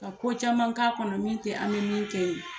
Ka ko caman k'a kɔnɔ min tɛ an min kɛ ye